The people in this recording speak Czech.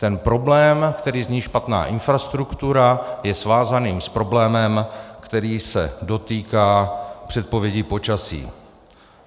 Ten problém, který zní špatná infrastruktura, je svázaný s problémem, který se dotýká předpovědi počasí.